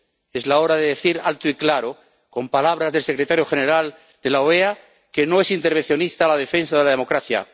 Es la hora de decir alto y claro, con palabras del secretario general de la OEA, que no es intervencionista la defensa de la democracia